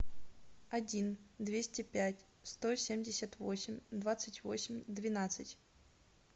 один двести пять сто семьдесят восемь двадцать восемь двенадцать